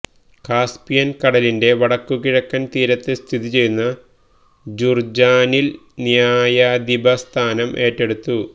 കാസ്പിയന് കടലിന്റെ വടക്കുകിഴക്കന് തീരത്ത് സ്ഥിതിചെയ്യുന്ന ജുര്ജാനില് ന്യായാധിപസ്ഥാനം ഏറ്റെടുത്തു